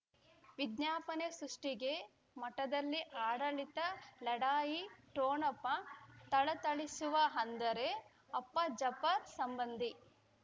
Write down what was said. ವಿಜ್ಞಾಪನೆ ಸೃಷ್ಟಿಗೆ ಮಠದಲ್ಲಿ ಆಡಳಿತ ಲಢಾಯಿ ಠೊಣಪ ಥಳಥಳಿಸುವ ಅಂದರೆ ಅಪ್ಪ ಜಾಪರ್ ಸಂಬಂಧಿ